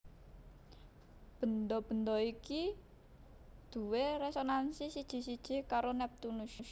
Bendha bendha iki duwé résonansi siji siji karo Neptunus